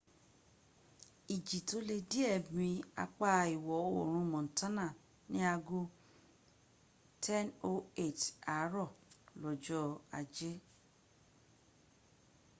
iji to le die mi apa iwo orun montana ni ago 10:08 aaro lojo aje